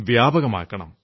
വ്യാപകമാക്കണം